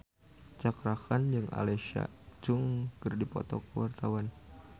Cakra Khan jeung Alexa Chung keur dipoto ku wartawan